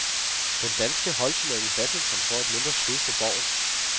Den danske holdturnering i badminton får et mindre skud for boven.